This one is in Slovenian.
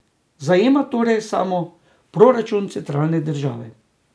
Zajema torej samo proračun centralne države.